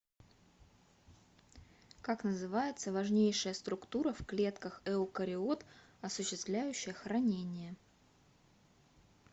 как называется важнейшая структура в клетках эукариот осуществляющая хранение